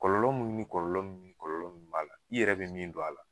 Kɔlɔlɔ ni kɔlɔlɔ ni kɔlɔlɔ min b'a la i yɛrɛ be min don a la